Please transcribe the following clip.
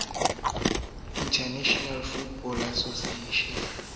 e ne e qaphaletswa ke